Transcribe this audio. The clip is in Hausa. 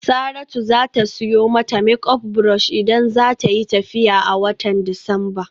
Saratu za ta siyo mata make up brush idan za ta yi tafiya a watan Disamba.